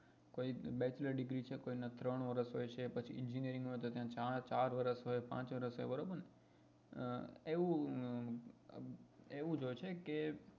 કઈ bachelor degree હોય છે કોઈ ના ત્રણ વર્ષ હોય છે પછી engineering હોય તો ત્યાં ચાર ચાર વર્ષ હોય પાંચ વર્ષ હોય બરોબર ને એવું એવુ જ હોય છે કે